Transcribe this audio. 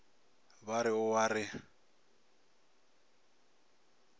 ba re o a re